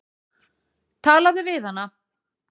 Talaðu við hana.